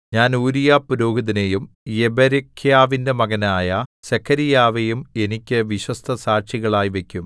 ഞാൻ ഊരീയാപുരോഹിതനെയും യെബെരെഖ്യാവിന്റെ മകനായ സെഖര്യാവെയും എനിക്ക് വിശ്വസ്തസാക്ഷികളാക്കി വയ്ക്കും